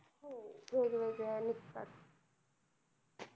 वेगवेगळ्या निघतात